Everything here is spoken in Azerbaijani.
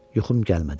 Yuxum gəlmədi.